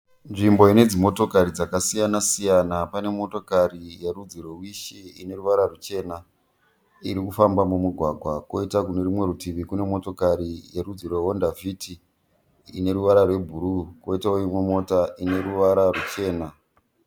Nzvimbo ine dzimotokari dzakasiyana siyana, pane motokari yerudzi rweWish ine ruvara ruchena iri kufamba mumugwagwa. Koita kune rumwe rutivi kune motokari yerudzi rweHONDA FIT ine ruvara rwebhuruu, koitawo imwe mota ine ruvara ruchena.